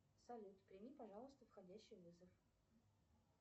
салют прими пожалуйста входящий вызов